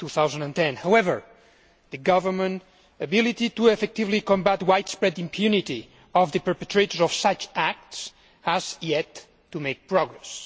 2010. However, the government's ability to effectively combat widespread impunity of the perpetrators of such acts has yet to make progress.